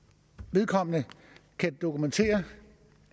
vedkommende kan dokumentere